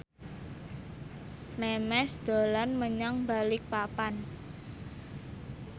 Memes dolan menyang Balikpapan